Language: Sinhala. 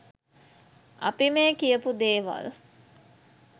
අපි මේ කියපු දේවල්